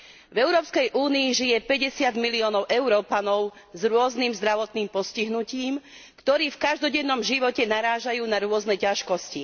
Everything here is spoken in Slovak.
V Európskej únii žije päťdesiat miliónov Európanov s rôznym zdravotným postihnutím, ktorí v každodennom živote narážajú na rôzne ťažkosti.